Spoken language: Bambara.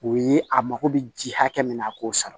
O ye a mako bɛ ji hakɛ min na a k'o sara